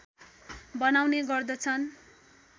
बनाउने गर्दछन्